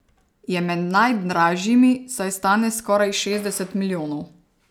Je med najdražjimi, saj stane skoraj šestdeset milijonov.